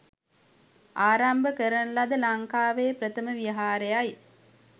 ආරම්භ කරන ලද ලංකාවේ ප්‍රථම විහාරයයි.